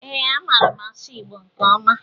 Ee, amaara m asụ Igbo nke ọma.